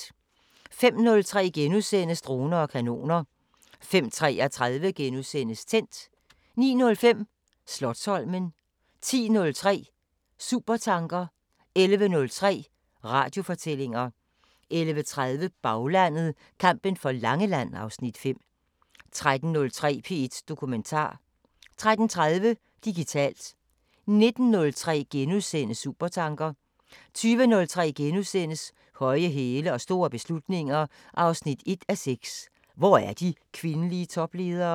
05:03: Droner og kanoner * 05:33: Tændt * 09:05: Slotsholmen 10:03: Supertanker 11:03: Radiofortællinger 11:30: Baglandet: Kampen for Langeland (Afs. 5) 13:03: P1 Dokumentar 13:30: Digitalt 19:03: Supertanker * 20:03: Høje hæle og store beslutninger 1:6 – Hvor er de kvindelige topledere? *